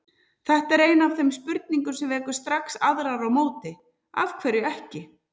Þetta er ein af þeim spurningum sem vekur strax aðrar á móti: Af hverju ekki?